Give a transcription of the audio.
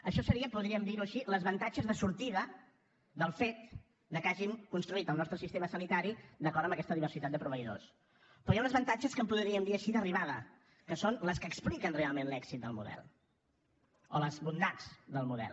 això serien podríem dir ho així els avantatges de sortida del fet que hagin construït el nostre sistema sanitari d’acord amb aquesta diversitat de proveïdors però hi ha uns avantatges que en podríem dir així d’arribada que són els que expliquen realment l’èxit del model o les bondats del model